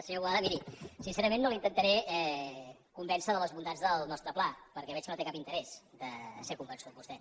senyor boada miri sincerament no l’intentaré convèncer de les bondats del nostre pla perquè veig que no té cap interès de ser convençut vostè